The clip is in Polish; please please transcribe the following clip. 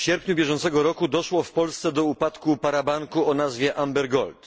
W sierpniu bieżącego roku doszło w Polsce do upadku parabanku o nazwie Amber Gold.